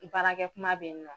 Baarakɛkuma be yen nɔ